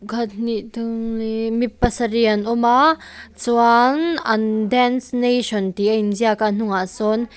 khat hnih thum li mi pasarih an awm a chuan an dance nation tih a inziak a a hnungah sawn --